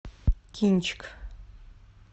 кинчик